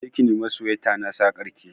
Je ki nema suwaita na sakar ki